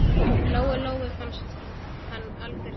Lóu-Lóu fannst hann algjört svín.